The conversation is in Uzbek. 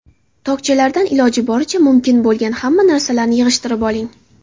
Tokchalardan iloji boricha mumkin bo‘lgan hamma narsalarni yig‘ishtirib oling.